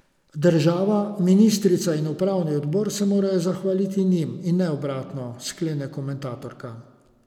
Država, ministrica in upravni odbor se morajo zahvaliti njim in ne obratno, sklene komentatorka.